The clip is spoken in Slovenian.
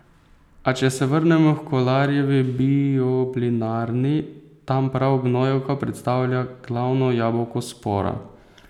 A, če se vrnemo h Kolarjevi bioplinarni, tam prav gnojevka predstavlja glavno jabolko spora.